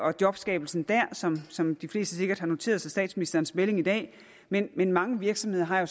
og jobskabelsen der som som de fleste sikkert har noteret sig i statsministerens melding i dag men men mange virksomheder har jo